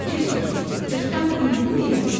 Div soruşdu: "Cırtdan indi niyə yatmırsan?"